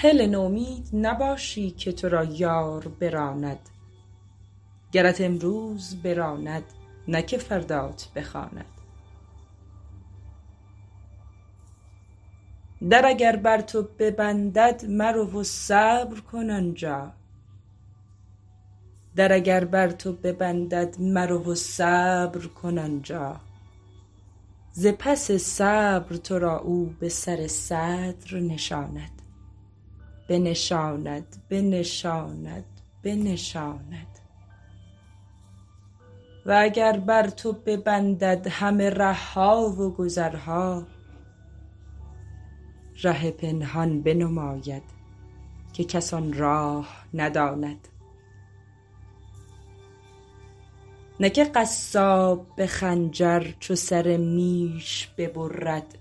هله نومید نباشی که تو را یار براند گرت امروز براند نه که فردات بخواند در اگر بر تو ببندد مرو و صبر کن آن جا ز پس صبر تو را او به سر صدر نشاند و اگر بر تو ببندد همه ره ها و گذرها ره پنهان بنماید که کس آن راه نداند نه که قصاب به خنجر چو سر میش ببرد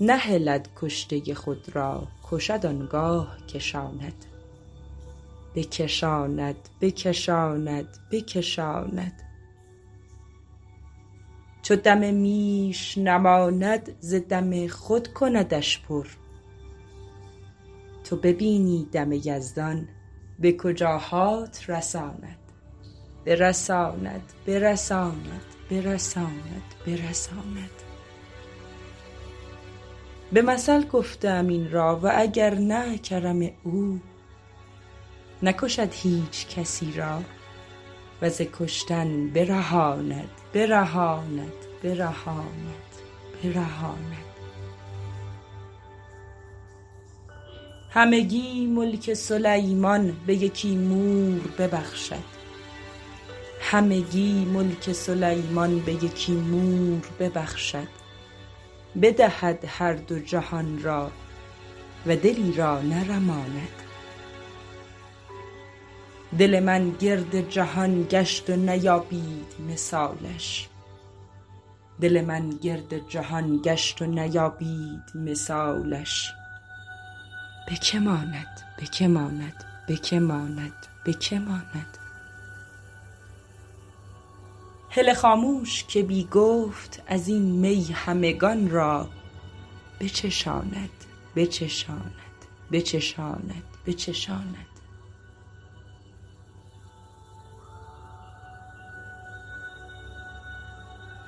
نهلد کشته خود را کشد آن گاه کشاند چو دم میش نماند ز دم خود کندش پر تو ببینی دم یزدان به کجاهات رساند به مثل گفته ام این را و اگر نه کرم او نکشد هیچ کسی را و ز کشتن برهاند همگی ملک سلیمان به یکی مور ببخشد بدهد هر دو جهان را و دلی را نرماند دل من گرد جهان گشت و نیابید مثالش به که ماند به که ماند به که ماند به که ماند هله خاموش که بی گفت از این می همگان را بچشاند بچشاند بچشاند بچشاند